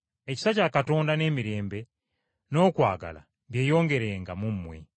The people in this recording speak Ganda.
Ekisa kya Katonda, n’emirembe, n’okwagala byeyongerenga mu mmwe.